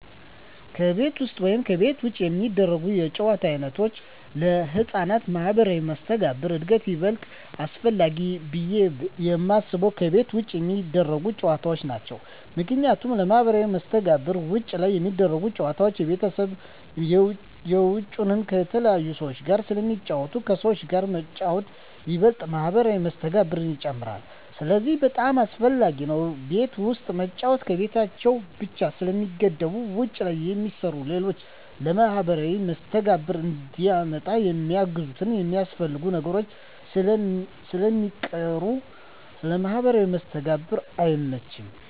ከቤት ውስጥ ወይም ከቤት ውጭ የሚደረጉ የጨዋታ ዓይነቶች ለሕፃናት ማኅበራዊ መስተጋብር እድገት ይበልጥ አስፈላጊው ብየ የማስበው ከቤት ውጭ የሚደረጉ ጨዎታዎች ናቸው ምክንያቱም ለማህበራዊ መስተጋብር ውጭ ላይ ሚደረጉት ጨወታዎች የቤትንም የውጭንም ከተለያዩ ሰዎች ጋር ስለሚጫወቱ ከሰዎች ጋር መጫወት ይበልጥ ማህበራዊ መስተጋብርን ይጨምራል ስለዚህ በጣም አሰፈላጊ ነው ቤት ውስጥ መጫወት በቤታቸው ብቻ ስለሚገደቡ ውጭ ላይ የሚሰሩ ሌሎች ለማህበራዊ መስተጋብር እንዲመጣ የሚያግዙና የሚያስፈልጉ ነገሮች ስለሚቀሩ ለማህበራዊ መስተጋብር አይመችም።